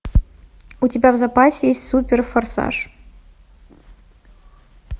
у тебя в запасе есть суперфорсаж